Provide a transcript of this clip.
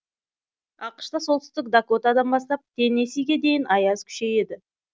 ақш та солтүстік дакотадан бастап теннесиге дейін аяз күшейді